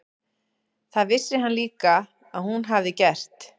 Það vissi hann líka að hún hafði gert.